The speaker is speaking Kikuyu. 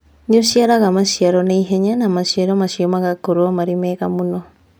Nĩ ũciaraga maciaro na ihenya, na maciaro macio magakorũo marĩ mega mũno.